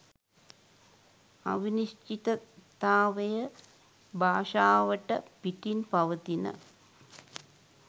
අවිනිශ්චිතතාවය භාෂාවට පිටින් පවතින